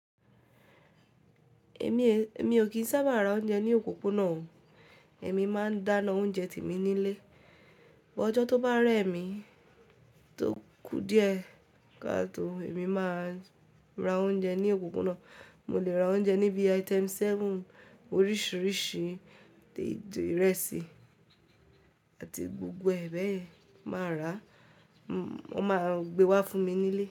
Èmi ò kì í sábà ra oúnjẹ ní òpópónà o. Èmi máa ń dáná oúnjẹ tèmi nílé. Ọjọ́ tó bá rẹ́ mi, tókú díẹ̀ katọ́, èmi máa ra oúnjẹ ní òpópónà. Mo lè ra oúnjẹ níbi Item seven, oríṣìíríṣìí téèdì ìrẹsì àti gbogbo ẹ̀ bẹ̀ yin máa ràá, wọ́n máa gbé wá fún mi nílé.